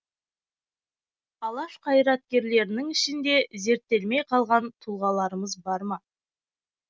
алаш қайраткерлерінің ішінде зерттелмей қалған тұлғаларымыз бар ма